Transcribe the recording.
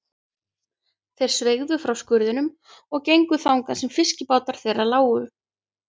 Þeir sveigðu frá skurðinum og gengu þangað sem fiskibátar þeirra lágu.